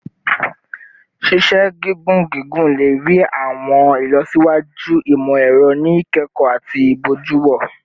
Ṣiṣe gigun gigun le rii awọn ilọsiwaju imọ-ẹrọ ni ikẹkọ ati ibojuwo